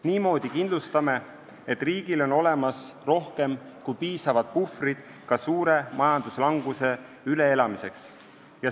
Niimoodi kindlustame, et riigil on olemas rohkem kui piisavad puhvrid ka suure majanduslanguse üleelamiseks.